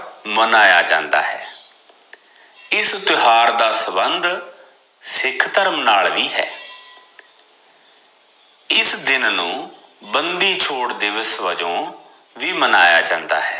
ਮਨਾਇਆ ਜਾਂਦਾ ਹੈ ਇਸ ਤਿਓਹਾਰ ਦਾ ਸੰਬੰਧ ਸਿਖ ਧਰਮ ਨਾਲ ਵੀ ਹੈ ਇਸ ਦਿਨ ਨੂੰ ਬੰਦੀ ਛੋੜ ਦਿਵਸ ਵਜੋਂ ਵੀ ਮਨਾਇਆ ਜਾਂਦਾ ਹੈ